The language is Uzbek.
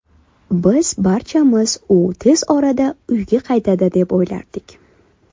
Biz barchamiz u tez orada uyga qaytadi, deb o‘ylardik.